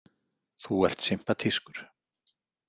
Þú ert sympatískur.